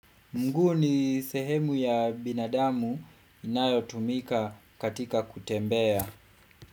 Mguu ni sehemu ya binadamu inayotumika katika kutembea.